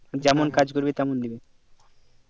যেমন কাজ করবে তেমন দেবে